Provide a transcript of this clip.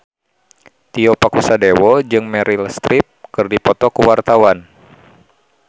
Tio Pakusadewo jeung Meryl Streep keur dipoto ku wartawan